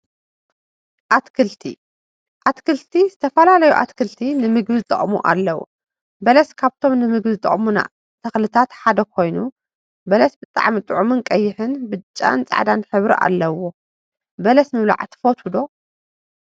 አትክልቲ አትክልቲ ዝተፈላለዩ አትክልቲ ንምግቢ ዝጠቅሙ አለው፡፡ በለስ ካብቶም ንምግቢ ዝጠቅሙና ተክሊታት ሓደ ኮይኑ፤ በለስ ብጣዕሚ ጡዑምን ቀይሕ፣ ብጫን ፃዕዳን ሕብሪ አለዎም፡፡ በለሰ ምብላዕ ትፈትው ዶ?